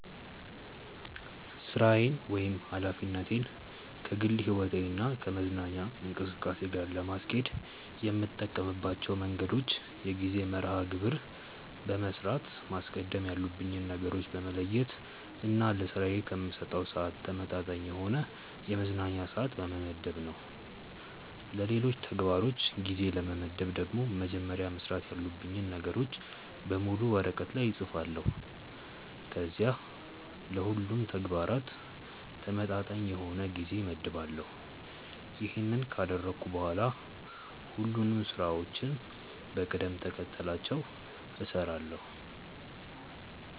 ሥራዬን ወይም ኃላፊነቴን ከግል ሕይወቴ እና ከመዝናኛ እንቅስቃሴ ጋር ለማስኬድ የምጠቀምባቸው መንገዶች የጊዜ መርሐ ግብር በመስራት፣ ማስቀደም ያሉብኝን ነገሮች በመለየት እና ለስራዬ ከምሰጠው ስዓት ተመጣጣኝ የሆነ የመዝናኛ ስዓት በመመደብ ነው። ለሌሎች ተግባሮች ጊዜ ለመመደብ ደግሞ መጀመሪያ መስራት ያሉብኝን ነገሮች በሙሉ ወረቀት ላይ እፅፋለሁ ከዚያም ለሁሉም ተግባራት ተመጣጣኝ የሆነ ጊዜ እመድባለሁ። ይሄንን ካደረግኩ በኋላ ሁሉንም ስራዎችን በቅደም ተከተላቸው እሰራለሁ።